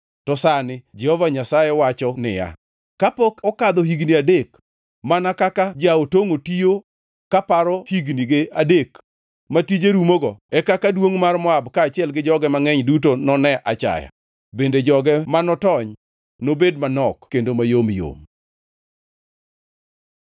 To sani Jehova Nyasaye wacho niya: Kapok okadho higni adek, mana kaka ja-otongʼo tiyo kaparo hignige adek ma tije rumogo e kaka duongʼ mar Moab kaachiel gi joge mangʼeny duto none achaya, bende joge ma notony nobed manok kendo mayom yom.